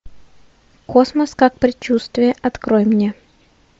космос как предчувствие открой мне